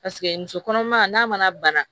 Paseke muso kɔnɔma n'a mana bana